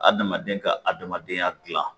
Adamaden ka adamadenya gilan